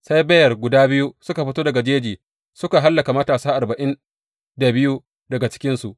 Sai beyar guda biyu suka fito daga jeji suka hallaka matasa arba’in da biyu daga cikinsu.